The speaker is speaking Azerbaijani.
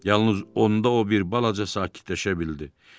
Yalnız onda o bir balaca sakitləşə bildi.